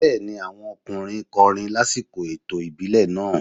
Bẹ́ẹ̀ni, àwọn ọkùnrin kọrin lásìkò ètò ìbílẹ̀ náà.